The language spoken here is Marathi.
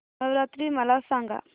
नवरात्री मला सांगा